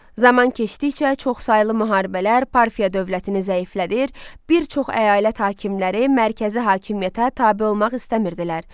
Zaman keçdikcə çoxsaylı müharibələr Parfiya dövlətini zəiflədir, bir çox əyalət hakimləri mərkəzi hakimiyyətə tabe olmaq istəmirdilər.